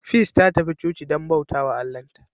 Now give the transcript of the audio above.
Peace ta tafi coci don bauta wa Allahnta.